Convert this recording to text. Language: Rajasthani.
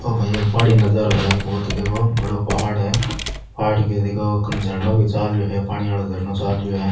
ओ भाई एक पहाड़ी नजारो है बहुत ही देखो बड़ो पहाड़ है पहाड़ क देखो झरनो चाल रहे है पानी वाला झरनो चाल रो है।